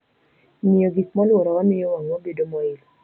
Ng'iyo gik molworowa miyo wang'wa bedo moil.